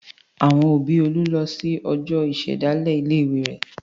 Àwọn òbí Olú lọ sí ọjọ́ ìṣèdásílẹ̀ ilé-ìwé rẹ̀.